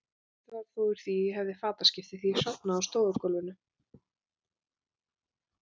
Ekkert varð þó úr að ég hefði fataskipti, því ég sofnaði á stofugólfinu.